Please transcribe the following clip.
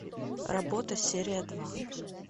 работа серия два